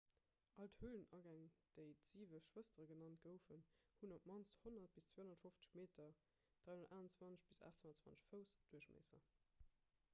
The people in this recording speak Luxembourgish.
all d'hölenagäng déi d'siwe schwëstere genannt goufen hunn op d'mannst 100 bis 250 meter 328 bis 820 fouss duerchmiesser